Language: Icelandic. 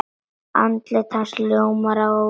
Andlit hans ljómar af óvissu.